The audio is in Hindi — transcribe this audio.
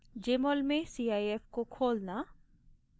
jmol में cif को खोलना